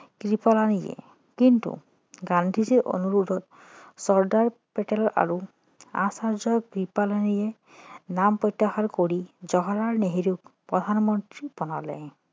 কৃপালিনীয়ে কিন্তু গান্ধীজীৰ অনুৰোধত চৰ্দাৰ পেটেল আৰু আচাৰ্য্য কৃপালিনীয়ে নাম প্ৰত্যাহাৰ কৰি জৱাহৰলাল নেহেৰুক প্ৰধানমন্ত্ৰী বনালে